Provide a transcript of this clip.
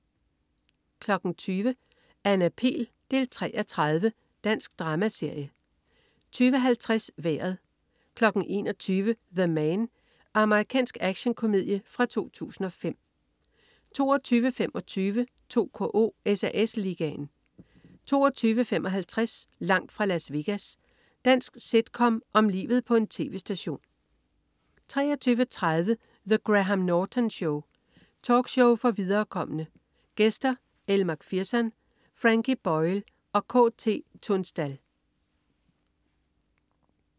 20.00 Anna Pihl 3:30. Dansk dramaserie 20.50 Vejret 21.00 The Man. Amerikansk actionkomedie fra 2005 22.25 2KO: SAS Ligaen 22.55 Langt fra Las Vegas. Dansk sitcom om livet på en tv-station 23.30 The Graham Norton Show. Talkshow for viderekomne. Gæster: Elle Mcpherson, Frankie Boyle og KT Tunstall